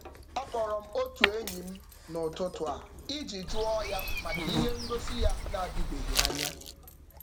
A kpọrọ m otu enyi m n'ụtụtụ a iji juo ya maka ihe ngosị ya n'adịbeghị anya.